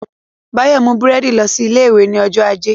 Báyọ̀ mú búrẹ́dì lọ sí ilé ìwé ní ọjọ́ ajé